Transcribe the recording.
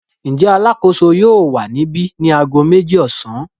Ǹjẹ́ alákòóso yóò wà níbi ni ago méjì ọ̀sán?